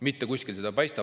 Mitte kuskilt seda ei paista.